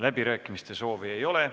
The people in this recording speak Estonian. Läbirääkimiste soovi ei ole.